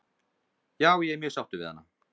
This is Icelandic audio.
Já ég er mjög sáttur við hana.